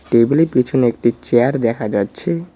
Table -এর পিছনে একটি চেয়ার দেখা যাচ্ছে।